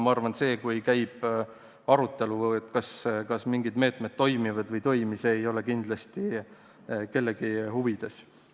Ma arvan, et see, kui käib arutelu selle üle, kas mingid meetmed toimivad või ei toimi, ei ole kindlasti kellegi huvides.